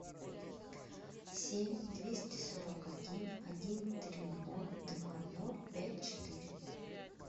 семь двести сорок один один три ноль два ноль пять четыре